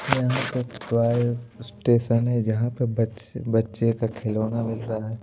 यहां पे toy station है जहां पे बच्चे बच्चे का खिलौना मिल रहा है।